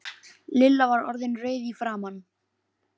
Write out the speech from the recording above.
Lilla var orðin rauð í framan.